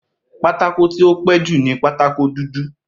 Pátákó tí ó pẹ́ẹ́ jù ni pátákó dúdú